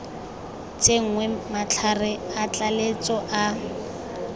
tsenngwe matlhare a tlaleletso a